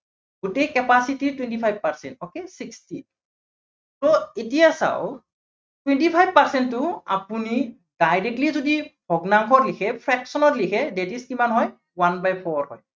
গোটেই capacity twenty five percent, okay sixty so এতিয়া চাওক twenty five percent টো আপুনি directly যদি ভগ্নাংশ দিছে, fraction ত লিখে that is কিমান হয় one by four হয়।